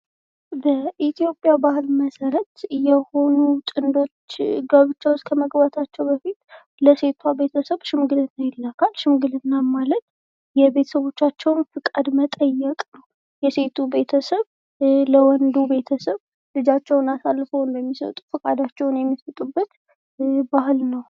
በኢትዮጵያ ባህል መሰረት የሆኑ ጥንዶች ጋብቻ ዉስጥ ከመግባታቸው በፊት ለሴቷ ቤተሰብ ሽምግልና ይላካል። ፈቃዳቸውን ለመግለጽ ይህም ሽምግልና ይባላል።